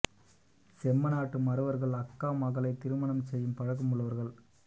செம்ம நாட்டு மறவர்கள் அக்கா மகளை திருமணம் செய்யும் பழக்கம் உள்ளவர்கள்